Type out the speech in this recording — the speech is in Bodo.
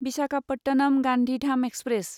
विसाखापटनम गान्धीधाम एक्सप्रेस